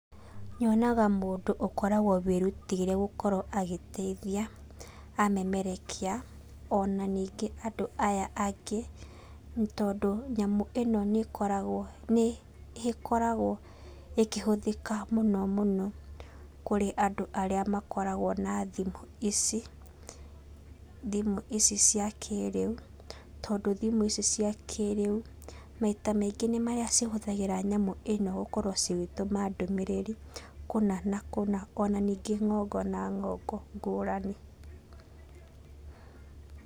Nyonaga mũndũ ũkoragwo wĩrutĩire gũkorwo agĩteithia, amemerekia, ona ningĩ andũ aya angĩ, nĩ tondũ nyamũ ĩno nĩkoragwo nĩ ĩkoragwo ĩkĩhũthĩka mũno mũno, kũrĩ andũ arĩa makoragwo na thimũ ici, thimũ ici cia kĩrĩu, tondũ thimũ ici cia kĩrĩu, maita maingĩ nĩ marĩa cihũthagĩra nyamũ ĩno gũkorwo cigĩtũma ndũmĩrĩrĩ kũna na kũna, ona ningĩ ng'ongo na ng'ongo ngũrani.